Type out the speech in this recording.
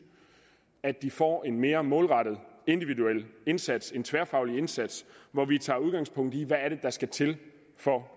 at de får en mere målrettet individuel indsats en tværfaglig indsats hvor vi tager udgangspunkt i hvad der skal til for